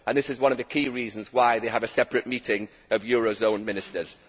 This is one of the key reasons why they have a separate meeting of eurozone ministers.